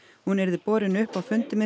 hún yrði borin upp á fundi með